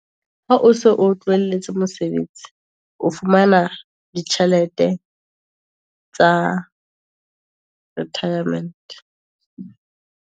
Ha o so o tlohelletse mosebetsi, o fumana ditjhelete tsa retirement.